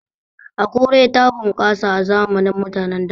Akure ta bunƙasa a zamanin mutanen da